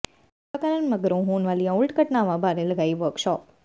ਟੀਕਾਕਰਨ ਮਗਰੋਂ ਹੋਣ ਵਾਲੀਆਂ ਉਲਟ ਘਟਨਾਵਾਂ ਬਾਰੇ ਲਗਾਈ ਵਰਕਸ਼ਾਪ